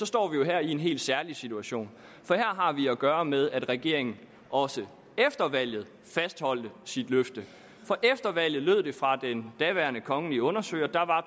står her i en helt særlig situation for her har vi at gøre med at regeringen også efter valget fastholdt sit løfte for efter valget lød det fra den daværende kongelige undersøger at der var